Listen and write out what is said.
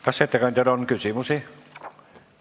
Kas ettekandjale on küsimusi?